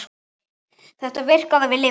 Þetta virkaði og við lifðum.